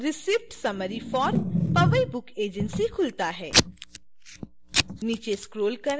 अन्य page receipt summary for powai book agency खुलता है